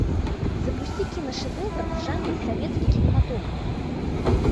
запусти киношедевр в жанре советский кинематограф